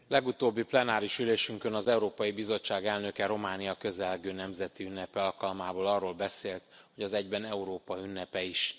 Legutóbbi plenáris ülésünkön az Európai Bizottság elnöke Románia közelgő nemzeti ünnepe alkalmából arról beszélt, hogy az egyben Európa ünnepe is.